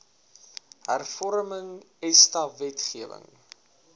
hervorming esta wetgewing